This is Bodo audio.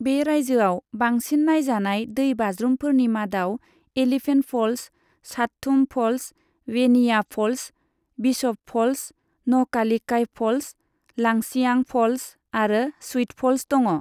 बे रायजोआव बांसिन नायजानाय दै बाज्रुमफोरनि मादाव Elephant Falls, Shadthum Falls, Weinia Falls, Bishop Falls, Nohkalikai Falls, Langshiang Falls आरो स्विट फ'ल्स दङ।